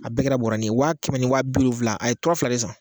A bɛɛ kɛra bɔrɛnin ye a ye wa kɛmɛ ni wa bi wolonwula a ye tura fila de san